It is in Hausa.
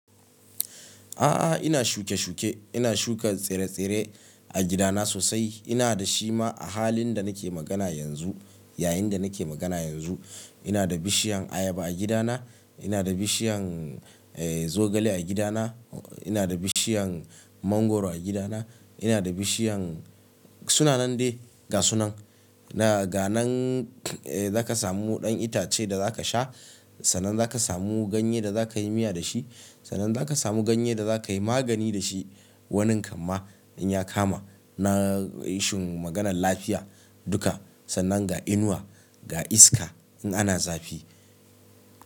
A'a, ina shuke-shuke. Ina shuka tsire-tsire a gidana sosai. Ina da shi ma a halin da nake magana yanzu, yayin da nake magana yanzu. Ina da bishiyan ayaba a gidana, ina da bishiyan, eh, zogale a gidana, ina da bishiyan mangwaro a gidana, ina da bishiyan suna nan dai gasunan. Na, ga nan, eh, zaka samu ɗan itace da zaka sha, sannan zaka samu ganye da zakayi miya da shi, sannan zaka samu ganye da zakayi magani da shi. Wanin kamma in ya kama na isuen maganan lafiya duka, sannan ga inuwa, ga iska in ana zafi.